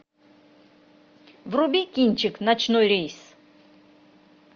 вруби кинчик ночной рейс